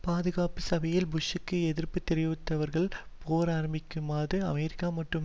பாதுகாப்பு சபையில் புஷ்ஷிற்கு எதிர்ப்பு தெரிவிப்பவர்கள் போர் ஆரம்பமாகியதும் அமெரிக்க மற்றும்